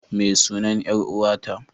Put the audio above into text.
Ma sunan 'yar uwa ta?